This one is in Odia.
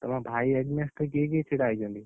ତମ ଭାଇ against ରେ କିଏ କିଏ ଛିଡା ହେଇଛନ୍ତି?